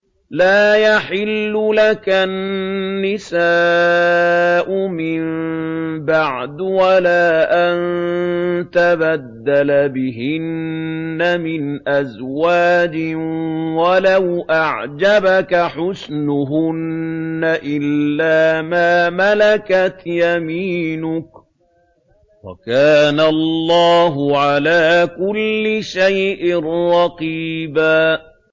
لَّا يَحِلُّ لَكَ النِّسَاءُ مِن بَعْدُ وَلَا أَن تَبَدَّلَ بِهِنَّ مِنْ أَزْوَاجٍ وَلَوْ أَعْجَبَكَ حُسْنُهُنَّ إِلَّا مَا مَلَكَتْ يَمِينُكَ ۗ وَكَانَ اللَّهُ عَلَىٰ كُلِّ شَيْءٍ رَّقِيبًا